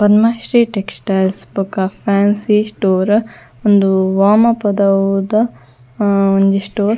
ಬ್ರಹ್ಮಶ್ರೀ textiles ಬೊಕ fancy store ಉಂದು ವಾಮಪದವುದ ಒಂಜಿ ಸ್ಟೋರ್ .